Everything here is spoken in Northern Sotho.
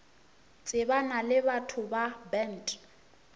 tsebana le batho ba bant